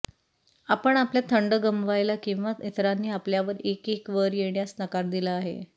आपण आपल्या थंड गमवायला किंवा इतरांनी आपल्यावर एक एक वर येण्यास नकार दिला आहे